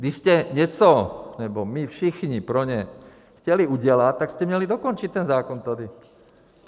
Když jste něco - nebo my všichni pro ně - chtěli udělat, tak jste měli dokončit ten zákon tady.